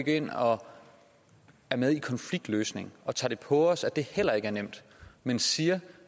ind og er med i konfliktløsning og tager det på os at det heller ikke er nemt men siger